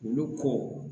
Olu ko